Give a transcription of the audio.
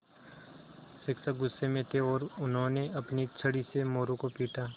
शिक्षक गुस्से में थे और उन्होंने अपनी छड़ी से मोरू को पीटा